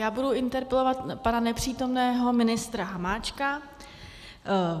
Já budu interpelovat pana nepřítomného ministra Hamáčka.